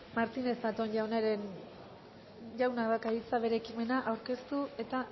martínez zatón jaunak dauka hitza bere ekimena aurkeztu eta